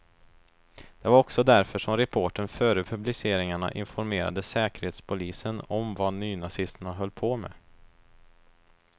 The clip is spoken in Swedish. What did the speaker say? Det var också därför som reportern före publiceringarna informerade säkerhetspolisen om vad nynazisterna höll på med.